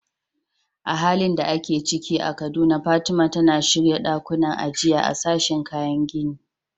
A halin da ake ciki a Kaduna, Fatima, tana shirya ɗakunan ajiya a sashin kayan gini.